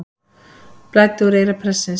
Blæddi úr eyra prestsins